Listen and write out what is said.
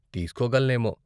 తీస్కోగలనేమో.